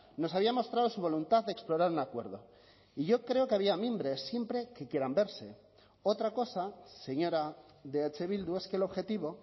nos había mostrado su voluntad de explorar un acuerdo y yo creo que había mimbres siempre que quieran verse otra cosa señora de eh bildu es que el objetivo